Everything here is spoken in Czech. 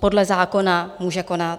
podle zákona může konat.